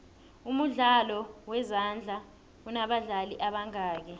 umdlalo wezandla unobadlali ebangaki